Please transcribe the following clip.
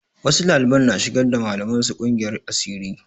Wasu ɗaliban na shigar da malaman su ƙungiyar asiri.